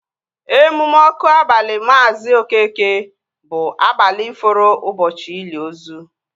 Emume ọkụ abali Maazi Okeke bụ abalị fọrọ ụbọchị ili ozu